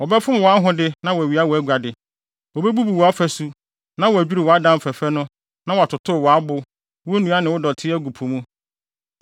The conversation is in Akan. Wɔbɛfom wʼahode na wɔawia wʼaguade, wobebubu wʼafasu, na wɔadwiriw wʼadan fɛfɛ no na wɔatotow wʼabo, wo nnua ne wo dɔte agu po mu.